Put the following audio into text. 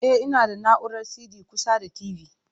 E, ina da na'urar CD kusa da TV.